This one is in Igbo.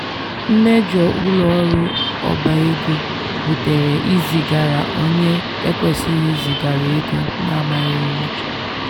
“mmejo ụlọọrụ obaego butere izigara onye ekwesighi izigara ego na amaghị ụma.”